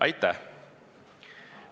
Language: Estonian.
Aitäh!